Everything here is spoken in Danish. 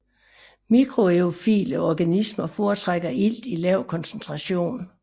Mikroaerofile organismer foretrækker ilt i lav koncentration